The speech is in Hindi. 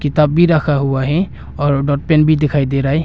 तब भी रखा हुआ है और डॉट पेन भी दिखाई दे रहा है।